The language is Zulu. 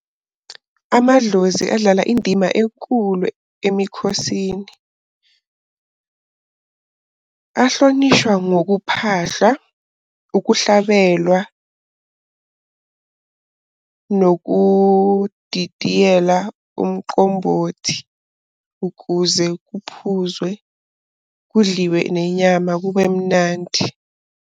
Amadlozi adlala indima enkulu emikhosini. Ahlonishwa ngokuphahla, ukuhlabelwa, nokudidiyela umqombothi, ukuze kuphuzwe, kudliwe nenyama kube mnandi.